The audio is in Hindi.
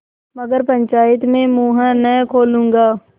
मगर पंचायत में मुँह न खोलूँगा